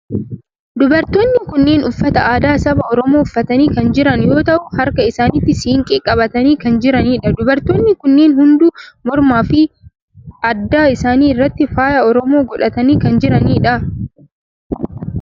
Dubartoonni kunneen uffata aadaa saba oromoo uffatanii kan jiran yoo ta'u harka isaanitti siinqee qabatanii kan jiranidha. dubartoonni kunneen hunduu mormaa fi adda isaanii irratti faaya oromoo godhatanii kan jiranidha.